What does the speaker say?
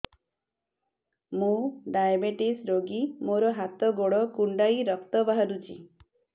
ମୁ ଡାଏବେଟିସ ରୋଗୀ ମୋର ହାତ ଗୋଡ଼ କୁଣ୍ଡାଇ ରକ୍ତ ବାହାରୁଚି